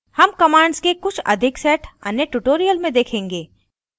हम commands के कुछ अधिक set अन्य tutorial में देखेंगे